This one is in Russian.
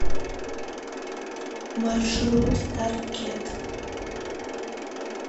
маршрут таркет